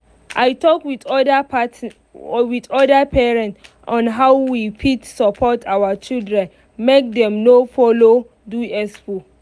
i talk with other party other parents on how we fit support our children make dem no follow do expo.